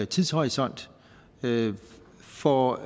tidshorisont får